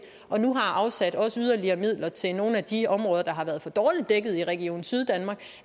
og nu har afsat yderligere midler til nogle af de områder der har været for dårligt dækket i region syddanmark